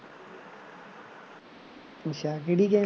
ਅੱਛਾ ਕਿਹੜੀ game